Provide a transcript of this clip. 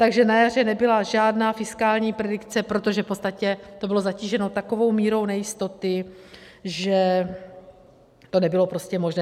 Takže na jaře nebyla žádná fiskální predikce, protože v podstatě to bylo zatíženo takovou mírou nejistoty, že to nebylo prostě možné.